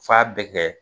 F'a bɛɛ kɛ